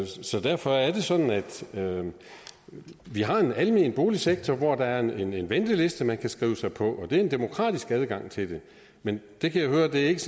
så derfor er det sådan at vi har en almen boligsektor hvor der er en en venteliste man kan skrive sig på og der er en demokratisk adgang til den men jeg kan høre at det ikke